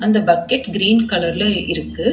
இந்த bucket green கலர்ல இருக்கு.